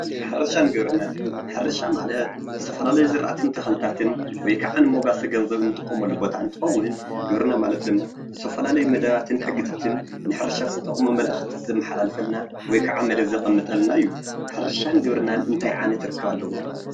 ሕርሻን ግብርናን ሕርሻ ማለት ዝተፈላለዩ ሕርሻን ዝራእትን ወይ ክዓ ንመጓሰ ገንዘብ እንጥቀመሉ ቦታ እንትኸውን ግብርና ማለት ድማ ዝተፈላለዩ መደባትን ሕግታትን ንሕርሻ ዝጠቅሙ መልእኽቲ ዘመሓላልፈልና ወይ ክዓ መደብ ዘቅምጠልና እዩ፡፡ ሕርሻን ግብርናን እንታይ ዓይነት ርክብ ኣለዎም?